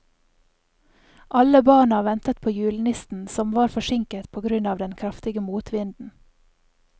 Alle barna ventet på julenissen, som var forsinket på grunn av den kraftige motvinden.